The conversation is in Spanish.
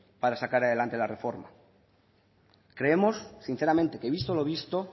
para sacar adelante la reforma creemos sinceramente que visto lo visto